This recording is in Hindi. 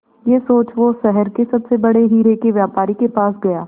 यह सोच वो शहर के सबसे बड़े हीरे के व्यापारी के पास गया